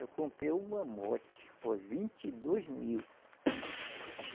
Eu comprei um mamote, por vinte e dois mil.